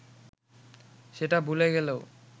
সেটা ভুলে গেলেও